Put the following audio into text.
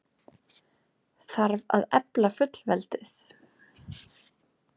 Þarf að efla fullveldið?